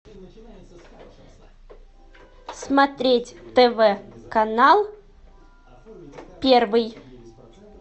смотреть тв канал первый